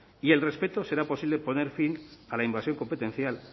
y el respeto será posible poner fin a la invasión competencial